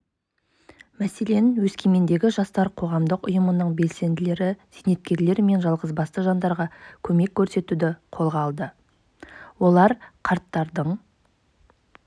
мәселен өскемендегі жастар қоғамдық ұйымының белсенділері зейнеткерлер мен жалғызбасты жандарға көмек көрсетуді қолға алды олар қарттардың